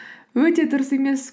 өте дұрыс емес